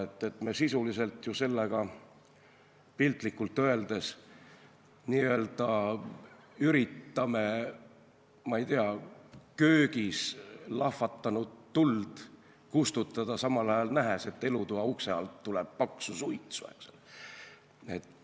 Sisuliselt me ju üritame sellega piltlikult öeldes, ma ei tea, köögis lahvatanud tuld kustutada, samal ajal nähes, et elutoa ukse alt tuleb paksu suitsu.